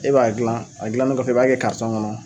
E b'a gilan a gilannen kɔfɛ i b'a kɛ karitɔn kɔnɔ.